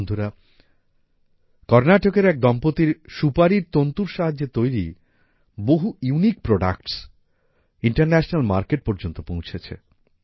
বন্ধুরা কর্নাটকের এক দম্পতির সুপারির তন্তুর সাহায্যে তৈরি বহু ইউনিক প্রোডাক্টস ইন্টারন্যাশনাল মার্কেট পর্যন্ত পৌঁছেছে